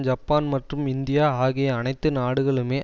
Japan மற்றும் India ஆகிய அனைத்து நாடுகளுமே